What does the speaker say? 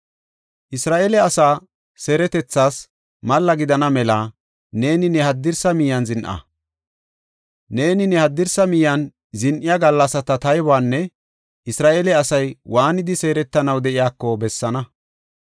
“Isra7eele asaa seeretethas malla gidana mela neeni ne haddirsa miyen zin7a. Neeni ne haddirsa miyen zin7iya gallasata taybuwan Isra7eele asay waanidi seeretanaw de7iyako bessaana.